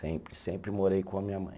Sempre, sempre morei com a minha mãe.